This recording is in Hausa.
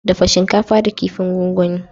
Dafa shinkafa da kifin gongoni.